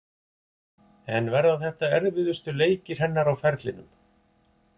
En verða þetta erfiðustu leikir hennar á ferlinum?